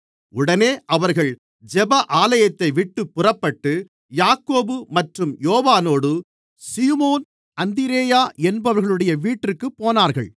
உடனே அவர்கள் ஜெப ஆலயத்தைவிட்டுப் புறப்பட்டு யாக்கோபு மற்றும் யோவானோடு சீமோன் அந்திரேயா என்பவர்களுடைய வீட்டிற்குப் போனார்கள்